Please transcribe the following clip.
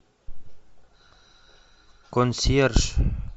консьерж